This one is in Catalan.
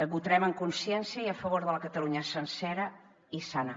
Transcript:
votarem amb consciència i a favor de la catalunya sencera i sana